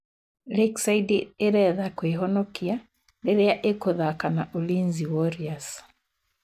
Lakeside ĩretha kwĩhonokia rĩrĩa ikũthaka na Ulinzi warriors.